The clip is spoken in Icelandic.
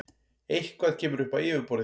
Eitthvað kemur upp á yfirborðið